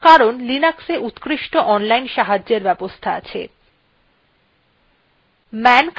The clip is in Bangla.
বাস্তবে মনে রাখার কোনো প্রয়োজন নেই কারণ linux উত্কৃষ্ট online সাহায্যের সুবিধা আছে